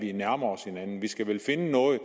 de nærmer sig hinanden vi skal vel finde noget